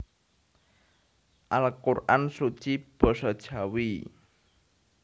Al Quran Suci Basa Jawi